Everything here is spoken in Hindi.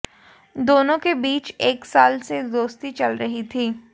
दोनों के बीच एक साल से दोस्ती चल रही थी